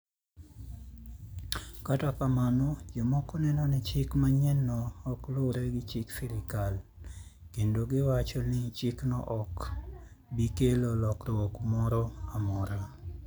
Kata kamano, jomoko neno ni chik manyienno ok luwre gi chik sirkal, kendo giwacho ni chikno ok bi kelo lokruok moro amora.